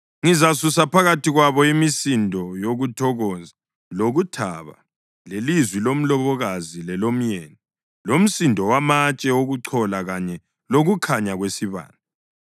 Ngizasusa phakathi kwabo imisindo yokuthokoza lokuthaba, lelizwi lomlobokazi lelomyeni, lomsindo wamatshe okuchola kanye lokukhanya kwesibane.